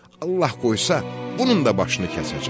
Allah qoysa, bunun da başını kəsəcəm.